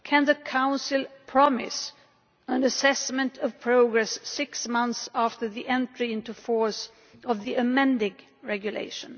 Can the Council promise an assessment of progress six months after the entry into force of the amending regulation?